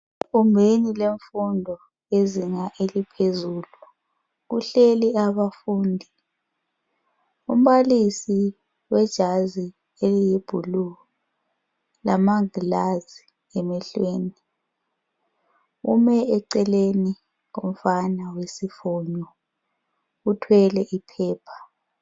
Egumbeni lwemfundo lezinga eliphezulu kuhleli abafundi umbalisi wejazi eliyi blue lamangilazi emehlweni ume eceleni komfana wesifonyo othwele iphepha.